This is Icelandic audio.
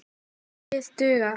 á hvorri hlið duga.